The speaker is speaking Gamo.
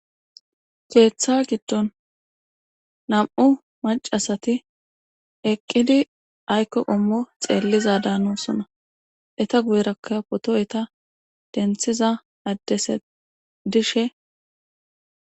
Keeththa giddon nam7u macasati eqqidi aykko qommo xeelliza daano sona eta guyerakka potoyeta denthiza addese dishe.